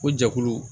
Ko jɛkulu